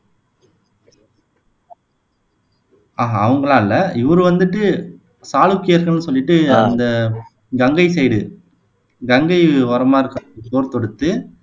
ஆஹ் அஹ் அவங்க எல்லாம் இல்ல இவர் வந்துட்டு சாளுக்கியர்கள்னு சொல்லிட்டு அந்த கங்கை சைடு கங்கை ஓரமா இருக்க போர் தொடுத்து